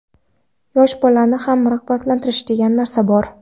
Yosh bolani ham rag‘batlantirish, degan narsa bor.